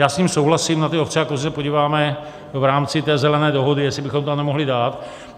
Já s ním souhlasím, na ty ovce a kozy se podíváme v rámci té zelené dohody, jestli bychom to tam nemohli dát.